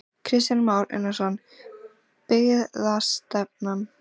Kristján Már Unnarsson: Byggðastefnan?